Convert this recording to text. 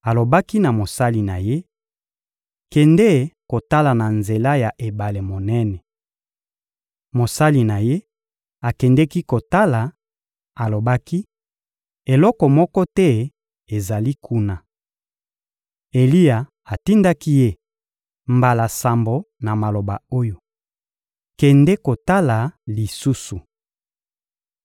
Alobaki na mosali na ye: — Kende kotala na nzela ya ebale monene. Mosali na ye akendeki kotala, alobaki: — Eloko moko te ezali kuna. Eliya atindaki ye mbala sambo na maloba oyo: «Kende kotala lisusu!»